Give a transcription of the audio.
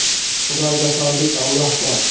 Xudoga soldik, Alloh bor.